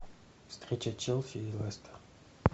встреча челси и лестер